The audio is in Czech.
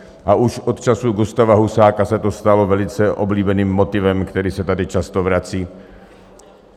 A už od času Gustáva Husáka se to stalo velice oblíbeným motivem, který se tady často vrací.